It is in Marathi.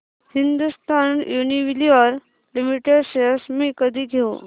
हिंदुस्थान युनिलिव्हर लिमिटेड शेअर्स मी कधी घेऊ